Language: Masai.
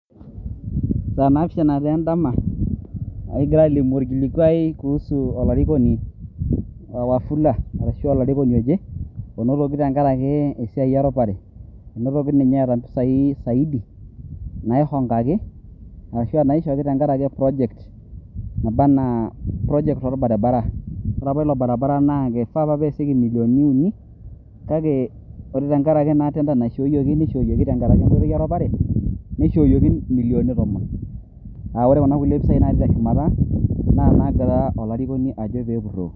Saa naapishana taa en`dama ekigira aalimu orkilikwai kuhusu olarikoni o wafula arashu olarikoni oje onotoki tenkaraki esiai eropare ,enotoki ninye eeta mpisai saidi naihongaki arashu aa naishooki tenkaraki project naba anaa project orbaribara . ore apa ila barabara naa eifaa apa nesieki millioni uni kake ore tenkaraki naa tender naishooyioki ,niishooyioki tenkaraki enkoitoi eropare ,nishooyioki millioni tomon ,aa ore kuna pisai natii teshumata naa nagira olarikoni ajo peepuroo .